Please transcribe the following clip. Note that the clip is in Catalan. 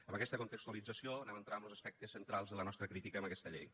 amb aquesta contextualització anem a entrar amb los aspectes centrals de la nostra crítica a aquesta llei